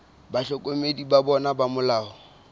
bahlokomedi ba bona ba molao